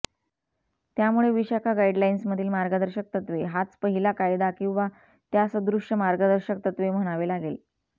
त्यामुळे विशाखा गाइडलाइन्समधील मार्गदर्शक तत्त्वे हाच पहिला कायदा किंवा त्यासदृश्य मार्गदर्शक तत्त्वे म्हणावे लागेल